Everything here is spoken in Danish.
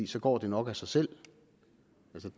så går det nok af sig selv